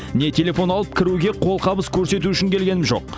не телефон алып кіруге қолғабыс көрсету үшін келгенім жоқ